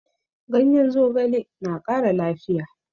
Ganyen zogale na ƙara lafiya